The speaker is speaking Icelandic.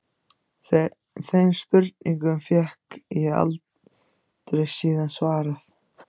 Þeim spurningum fékk ég aldrei síðan svarað.